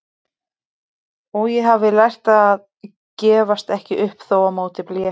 Og ég hafði lært að gefast ekki upp þótt á móti blési.